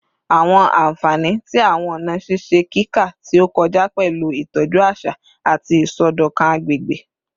Awọn anfani ti awọn ọna ṣiṣe kika ti o kọja pẹlu itọju aṣa ati isọdọkan agbegbe